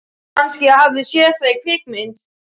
Kannski ég hafi séð það í kvikmynd.